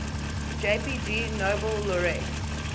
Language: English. jpg nobel laureate